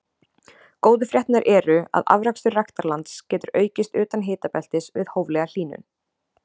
góðu fréttirnar eru að afrakstur ræktarlands getur aukist utan hitabeltis við hóflega hlýnun